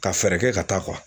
Ka fɛɛrɛ kɛ ka taa